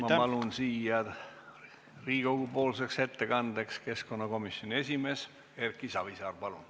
Ma palun siia Riigikogu-poolseks ettekandjaks keskkonnakomisjoni esimehe Erki Savisaare.